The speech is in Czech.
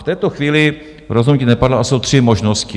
V této chvíli rozhodnutí nepadlo a jsou tři možnosti.